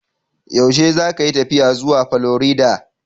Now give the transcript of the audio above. Yaushe zakayi tafiya zuwa Florida?